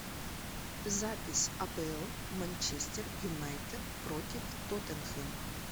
запись апл манчестер юнайтед против тоттенхэм